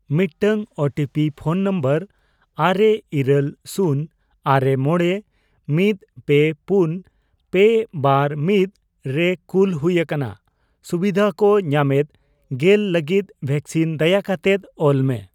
ᱢᱤᱫᱴᱟᱝ OTP phone number ᱟᱨᱮ, ᱤᱨᱟᱹᱞ, ᱥᱩᱱ, ᱟᱨᱮ, ᱢᱚᱬᱮ, ᱢᱤᱫ, ᱯᱮ, ᱯᱩᱱ, ᱯᱮ, ᱵᱟᱨ, ᱢᱤᱫ ᱨᱮ ᱠᱩᱞ ᱦᱩᱭ ᱟᱠᱟᱱᱟ ᱾ ᱥᱩᱵᱤᱫᱷᱟ ᱠᱚ ᱧᱟᱢᱮᱫ ᱑᱐ ᱞᱟᱜᱤᱫ ᱵᱷᱮᱠᱥᱤᱱ ᱫᱟᱭᱟᱠᱟᱛᱮᱫ ᱾ ᱚᱞ ᱢᱮ ᱾